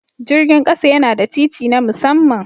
Jirgin ƙasa yana da titi na musamman.